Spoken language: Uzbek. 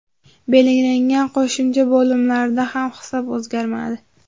Belgilangan qo‘shimcha bo‘limlarda ham hisob o‘zgarmadi.